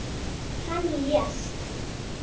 Hann lést.